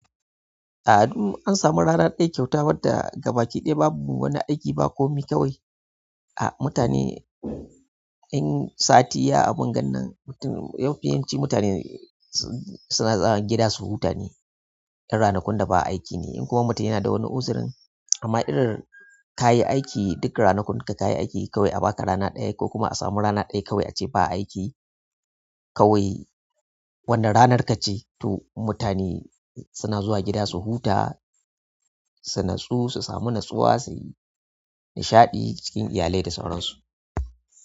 A'a, duk an samu rana ɗaya kyauta wanda gabaki ɗaya babu wani aiki babu komai kawai. A mutane in sati ya a bungannan mafi yawanci mutane suna zuwa gida su huta ne, in ranakun da ba aiki ne. In kuma mutum yana da wani uzrin amma irin kayi aiki duk ranakun ka kayi aiki kawai a baka rana ɗaya ko kuma a samu rana ɗaya kawai ace ba aiki kawai. Wannan ranar ka ce to mutane suna zuwa gida su huta, su natsu, su samu natsuwa, suyi nishaɗi cikin iyalai da sauran su.